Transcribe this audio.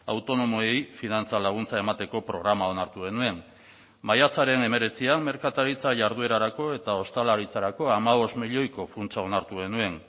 autonomoei finantza laguntza emateko programa onartu genuen maiatzaren hemeretzian merkataritza jarduerarako eta ostalaritzarako hamabost milioiko funtsa onartu genuen